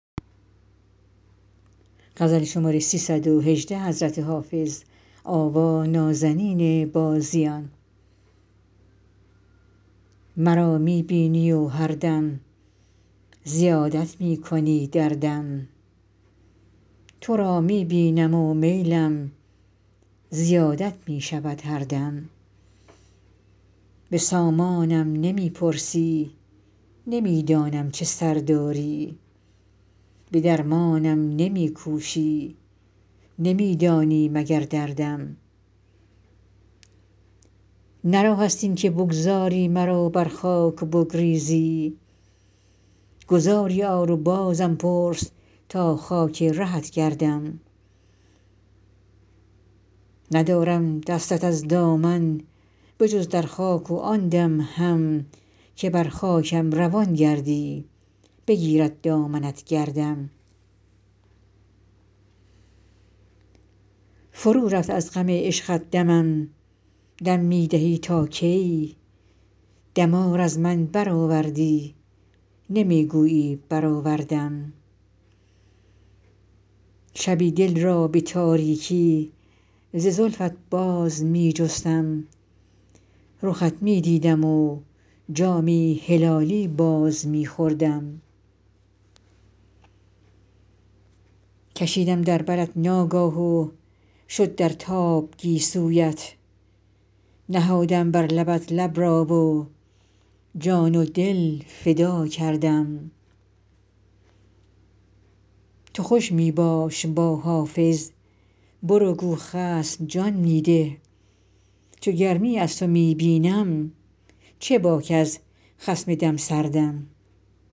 مرا می بینی و هر دم زیادت می کنی دردم تو را می بینم و میلم زیادت می شود هر دم به سامانم نمی پرسی نمی دانم چه سر داری به درمانم نمی کوشی نمی دانی مگر دردم نه راه است این که بگذاری مرا بر خاک و بگریزی گذاری آر و بازم پرس تا خاک رهت گردم ندارم دستت از دامن به جز در خاک و آن دم هم که بر خاکم روان گردی بگیرد دامنت گردم فرو رفت از غم عشقت دمم دم می دهی تا کی دمار از من برآوردی نمی گویی برآوردم شبی دل را به تاریکی ز زلفت باز می جستم رخت می دیدم و جامی هلالی باز می خوردم کشیدم در برت ناگاه و شد در تاب گیسویت نهادم بر لبت لب را و جان و دل فدا کردم تو خوش می باش با حافظ برو گو خصم جان می ده چو گرمی از تو می بینم چه باک از خصم دم سردم